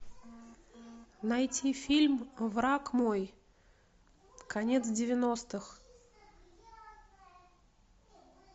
найти фильм враг мой конец девяностых